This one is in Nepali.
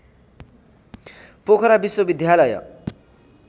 पोखरा विश्वविद्यालय